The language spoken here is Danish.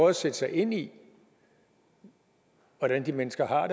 at sætte sig ind i hvordan de mennesker har